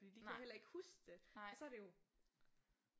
Fordi de kan jo heller ikke huske det og så er det jo